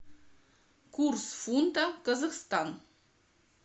курс фунта казахстан